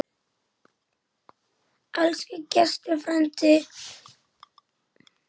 Elsku Gestur frændi.